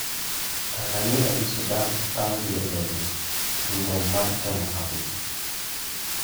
Tanzania gi Sudani otamgi donjo e tugo mar temo hapgi.